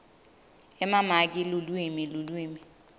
emamaki lulwimi lulwimi